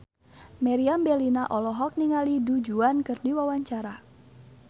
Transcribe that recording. Meriam Bellina olohok ningali Du Juan keur diwawancara